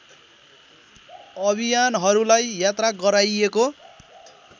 अभियानहरूलाई यात्रा गराइएको